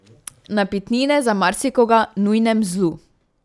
Napitnine, za marsikoga nujnem zlu.